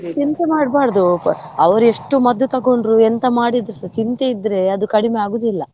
ಚಿಂತೆ ಮಾಡ್ಬರ್ದು ಅವರು ಎಷ್ಟು ಮದ್ದು ತಕೊಂಡ್ರು, ಎಂತ ಮಾಡಿದ್ರುಸ ಚಿಂತೆ ಇದ್ರೆ ಅದು ಕಡಿಮೆ ಆಗುದಿಲ್ಲ.